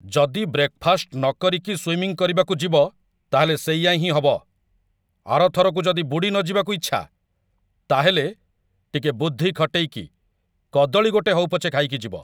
ଯଦି ବ୍ରେକଫାଷ୍ଟ ନକରିକି ସ୍ୱିମିଂ କରିବାକୁ ଯିବ, ତା'ହେଲେ ସେଇଆ ହିଁ ହବ । ଆର ଥରକୁ ଯଦି ବୁଡ଼ିନଯିବାକୁ ଇଚ୍ଛା, ତା'ହେଲେ, ଟିକେ ବୁଦ୍ଧି ଖଟେଇକି କଦଳୀ ଗୋଟେ ହଉ ପଛେ ଖାଇକି ଯିବ ।